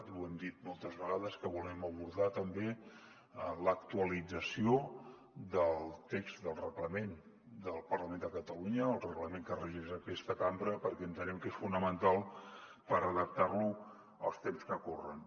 i ho hem dit moltes vegades que volem abordar també l’actualització del text del reglament del parlament de catalunya el reglament que regeix aquesta cambra perquè entenem que és fonamental per adaptar lo als temps que corren